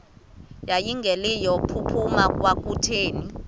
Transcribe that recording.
yayingelilo phupha kwakutheni